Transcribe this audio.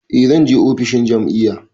Eh zan je ofishin jam'iyya.